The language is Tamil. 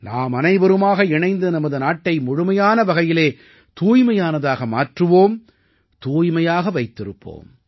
நாமனைவருமாக இணைந்து நமது நாட்டை முழுமையான வகையிலே தூய்மையானதாக மாற்றுவோம் தூய்மையாக வைத்திருப்போம்